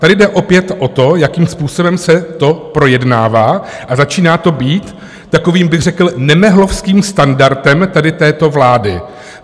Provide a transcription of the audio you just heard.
Tady jde opět o to, jakým způsobem se to projednává, a začíná to být takovým řekl bych nemehlovským standardem tady této vlády.